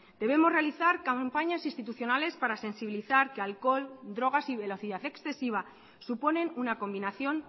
debemos realizar campañas institucionales para sensibilizar que alcohol drogas y velocidad excesiva suponen una combinación